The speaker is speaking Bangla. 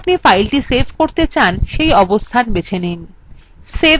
save button click করুন